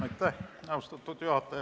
Austatud juhataja!